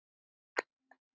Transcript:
Líður manni betur við það?